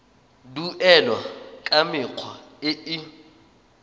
duelwa ka mekgwa e e